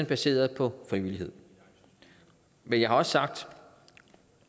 baseret på frivillighed men jeg har også sagt